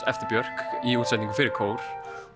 eftir Björk í útsetningum fyrir kór